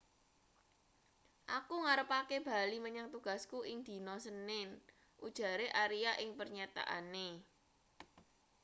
aku ngarepake bali menyang tugasku ing dina senin ujare aria ing pernyataane